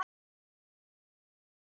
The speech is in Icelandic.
Nei, ekki þú.